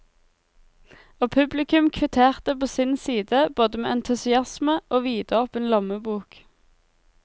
Og publikum kvitterte på sin side både med entusiasme og vidåpen lommebok.